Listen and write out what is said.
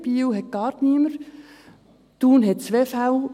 Biel hat gar niemanden, Thun hat 2 Fälle.